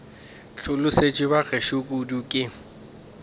hlolosetšwe ba gešo kudu ke